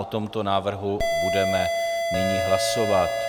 O tomto návrhu budeme nyní hlasovat.